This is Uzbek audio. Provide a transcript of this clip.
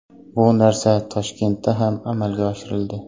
Bu narsa Toshkentda ham amalga oshirildi.